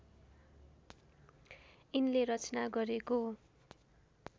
यिनले रचना गरेको